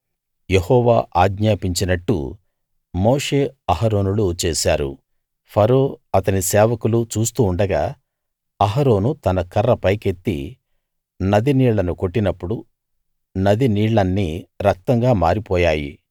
యెహోవా ఆజ్ఞాపించినట్టు మోషే అహరోనులు చేశారు ఫరో అతని సేవకులు చూస్తూ ఉండగా అహరోను తన కర్ర పైకెత్తి నది నీళ్లను కొట్టినప్పుడు నది నీళ్లన్నీ రక్తంగా మారిపోయాయి